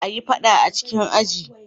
Kar a yi fada a cikin aji.